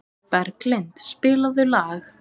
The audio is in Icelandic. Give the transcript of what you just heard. Berglind, spilaðu lag.